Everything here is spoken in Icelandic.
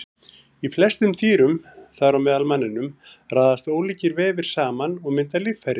Í flestum dýrum, þar á meðal manninum, raðast ólíkir vefir saman og mynda líffæri.